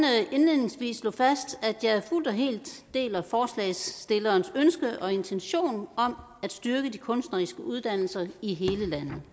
indledningsvis slå fast at jeg fuldt og helt deler forslagsstillernes ønske og intentioner om at styrke de kunstneriske uddannelser i hele landet